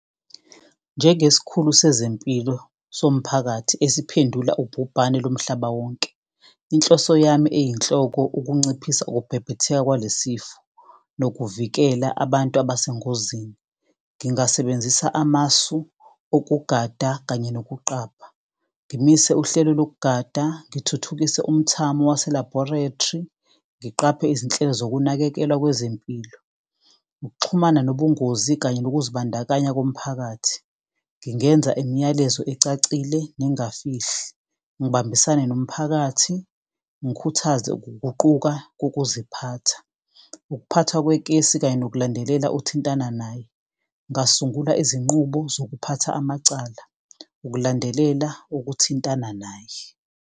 Njengesikhulu sezempilo somphakathi esiphendula ubhubhane lomhlaba wonke. Inhloso yami eyinhloko ukunciphisa ukubhebhetheka kwalesi sifo, nokuvikela abantu abesengozini. Ngingasebenzisa amasu okugada kanye nokuqapha, ngimise uhlelo lokugada, ngithuthukise umthamo wase-laboratory. Ngiqaphe izinhlelo zokunakekelwa kwezempilo, ukuxhumana nobungozi kanye nokuzibandakanya komphakathi. Ngingenza imiyalezo ecacile, nengayifihli, ngibambisane nomphakathi, ngikhuthaze ukuguquka kokuziphatha. Ukuphathwa kwekesi kanje nokulandelela othintana naye. Ngasungula izinqubo zokuphatha amacala, ukulandelela ukuthintana naye.